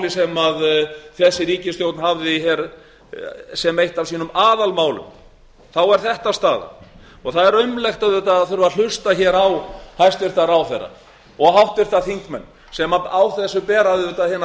sem þessi ríkisstjórn hafði hér sem eitt af sínum aðalmálum er þetta staðan það er aumlegt auðvitað að þurfa að hlusta hér á hæstvirtan ráðherra og háttvirtir þingmenn sem á þessu bera auðvitað hina